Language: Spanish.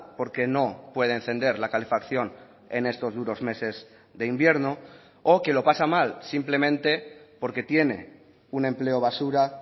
porque no puede encender la calefacción en estos duros meses de invierno o que lo pasa mal simplemente porque tiene un empleo basura